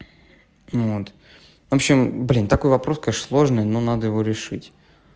вот в общем блин такой вопрос конечно сложный но надо его решить